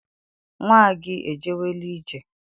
Nnwa gị ejewela ije?